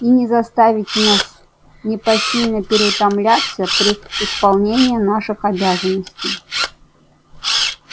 и не заставите нас непосильно переутомляться при исполнении наших обязанностей